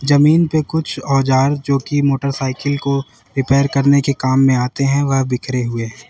जमीन पे कुछ औजार जो कि मोटरसाइकिल को रिपेयर करने के काम में आते हैं वे बिखरें हुए हैं।